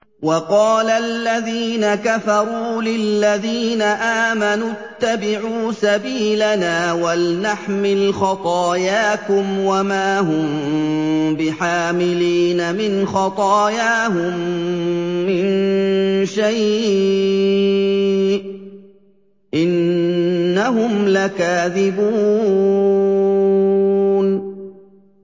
وَقَالَ الَّذِينَ كَفَرُوا لِلَّذِينَ آمَنُوا اتَّبِعُوا سَبِيلَنَا وَلْنَحْمِلْ خَطَايَاكُمْ وَمَا هُم بِحَامِلِينَ مِنْ خَطَايَاهُم مِّن شَيْءٍ ۖ إِنَّهُمْ لَكَاذِبُونَ